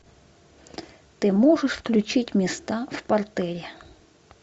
ты можешь включить места в партере